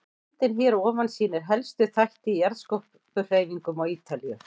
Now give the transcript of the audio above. Myndin hér að ofan sýnir helstu þætti í jarðskorpuhreyfingum á Ítalíu.